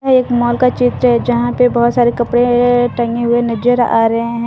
एक मोल का चित्र जहां पर बहुत सारे कपड़े टंगे हुए नजर आ रहे हैं ।